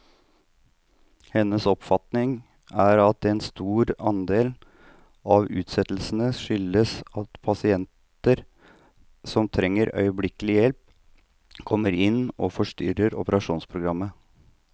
Hennes oppfatning er at en stor andel av utsettelsene skyldes at pasienter som trenger øyeblikkelig hjelp, kommer inn og fortrenger operasjonsprogrammet.